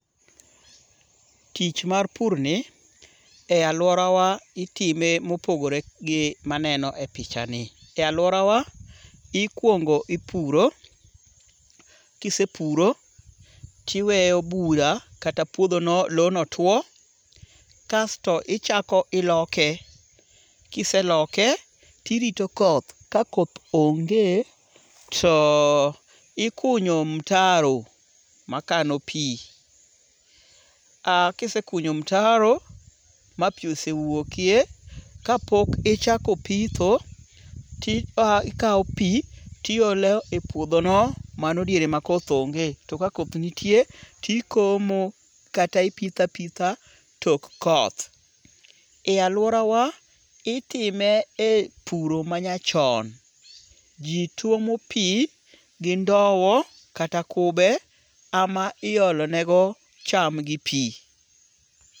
Tich mar pur ni, e aluora wa itime mopogore gi maneno e picha ni. E aluora wa ikuongo ipuro. Kisepuro, tiweyo bura kata puodhono lowo no tuo. Kasto ichako iloke. Kiseloke, tirito koth. Kakoth onge, to ikunyo mtaro makano pi. Kisekunyo mtaro ma pi osewuokie, ka pok ichako pitho, tikawo pi tiolo e puodho no. Mano diere ma koth onge. To ka koth nitie, tikomo kata ipitho a pitha tok koth. E aluora wa itime e puro manyachon. Jituomo pi gi ndow kata kube ema iolonego cham gi pi.